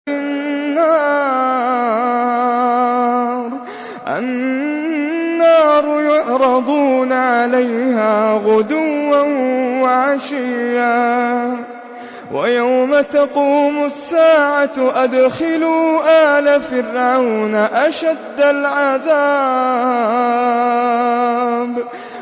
النَّارُ يُعْرَضُونَ عَلَيْهَا غُدُوًّا وَعَشِيًّا ۖ وَيَوْمَ تَقُومُ السَّاعَةُ أَدْخِلُوا آلَ فِرْعَوْنَ أَشَدَّ الْعَذَابِ